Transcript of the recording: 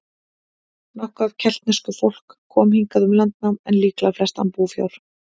Nokkuð af keltnesku fólk kom hingað um landnám, en líklega flest án búfjár.